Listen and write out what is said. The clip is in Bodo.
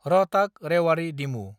रहताक–रेवारि डिमु